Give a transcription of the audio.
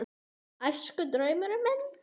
Þjóðverjarnir sátu veislu í Stórustofu um kvöldið.